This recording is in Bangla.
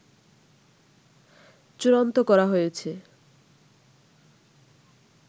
চূড়ান্ত করা হয়েছে